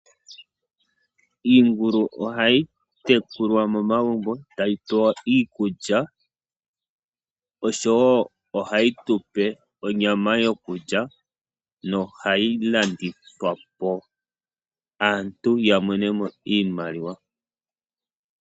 Iingulu ohai tekulwa momagumbo tayi pewa iikulya. Ohai tupe onyama yokulya, yo ohai vulu okulandithwa po, opo aantu yamone mo iimaliwa.